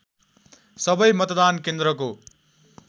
सबै मतदान केन्द्रको